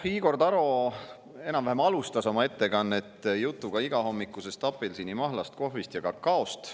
Igor Taro enam-vähem alustas oma ettekannet jutuga igahommikusest apelsinimahlast, kohvist ja kakaost.